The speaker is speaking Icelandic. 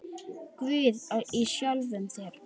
Guð í sjálfum þér.